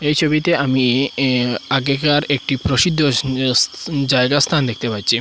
এই ছবিতে আমি এ আগেকার একটি প্রসিদ্ধ স স্থ জায়গা স্থান দেখতে পাচ্ছি।